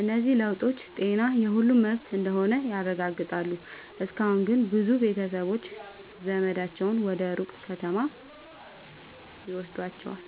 እነዚህ ለውጦች ጤና የሁሉም መብት እንደሆነ ያረጋግጣሉ። እስካሁን ግን ብዙ ቤተሰቦች ዘመዳቸውን ወደ ሩቅ ከተማ ይወስዷቸዋል።